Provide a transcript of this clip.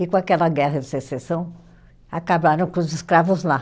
E, com aquela guerra de secessão, acabaram com os escravos lá.